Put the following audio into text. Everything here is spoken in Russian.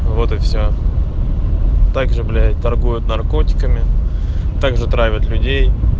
вот и все также блять торгуют наркотиками также травят людей